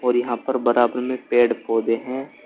और यहां पर बराबर में पेड़ पौधे हैं।